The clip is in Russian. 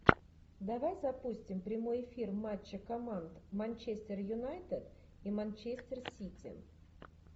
давай запустим прямой эфир матча команд манчестер юнайтед и манчестер сити